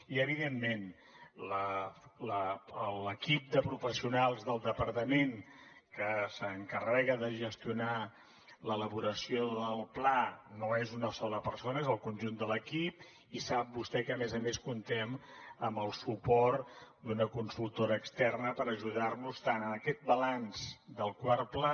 i evidentment l’equip de professionals del departament que s’encarrega de gestionar l’elaboració del pla no és una sola persona és el conjunt de l’equip i sap vostè que a més a més comptem amb el suport d’una consultora externa per ajudar nos tant en aquest balanç del quart pla